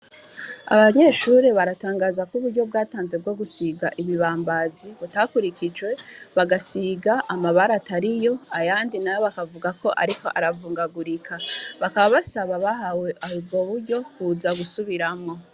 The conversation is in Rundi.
Abanyeshuri baratangaza ko uburyo bwatanzwe bwogusiga ibibambazi butakurikijwe bagasiga amabara atariyo ayandi bakavuga ko biriko biravugangagurika bakaba Basaba abahawe ubwo buryo kuza gusubiramwo.